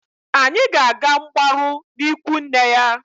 Anyị ga-aga mgbarụ n'ikwu nne ya.